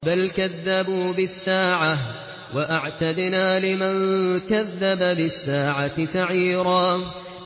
بَلْ كَذَّبُوا بِالسَّاعَةِ ۖ وَأَعْتَدْنَا لِمَن كَذَّبَ بِالسَّاعَةِ سَعِيرًا